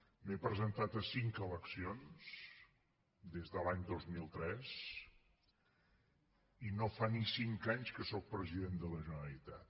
m’he presentat a cinc eleccions des de l’any dos mil tres i no fa ni cinc anys que sóc president de la generalitat